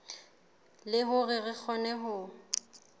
le hore re kgone ho